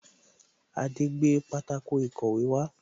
Adé gbé pátákó ìkọ̀wé wá